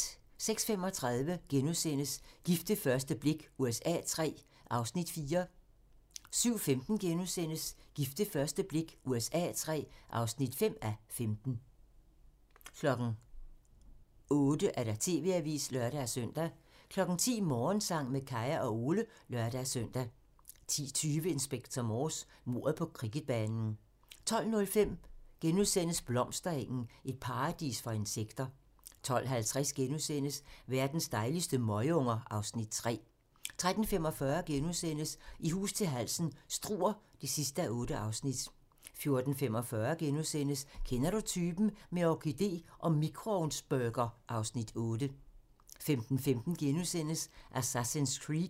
06:35: Gift ved første blik USA III (4:15)* 07:15: Gift ved første blik USA III (5:15)* 08:00: TV-avisen (lør-søn) 10:00: Morgensang med Kaya og Ole (lør-søn) 10:20: Inspector Morse: Mordet på cricketbanen 12:05: Blomsterengen - et paradis for insekter * 12:50: Verdens dejligste møgunger (Afs. 3)* 13:45: I hus til halsen - Struer (8:8)* 14:45: Kender du typen? - med orkidé og mikroovnsburger (Afs. 8)* 15:15: Assassin's Creed *